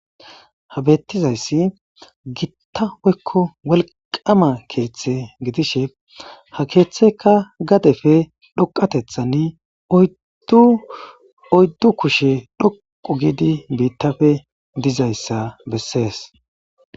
habeettizayssi gitta woykko walqama keeththe gidishe ha keeththeka gadefe dhoqatethan dduoyddu kushe dhoqu gidi biittafe dizayssa bessees